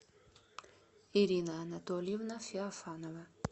ирина анатольевна феофанова